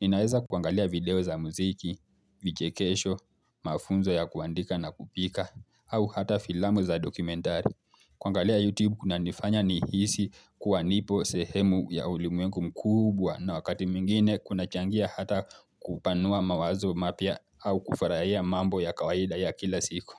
Ninaweza kuangalia video za muziki, vichekesho, mafunzo ya kuandika na kupika, au hata filamu za dokumentari. Kuangalia YouTube kunanifanya nihisi kuwa nipo sehemu ya ulimuengu mkubwa na wakati mwingine kuna changia hata kuupanua mawazo mapya au kufurahia mambo ya kawaida ya kila siku.